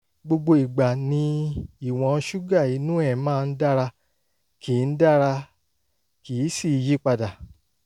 gbogbo ìgbà ni ìwọ̀n ṣúgà inú ẹ̀ máa ń dára kì ń dára kì í sì í yí padà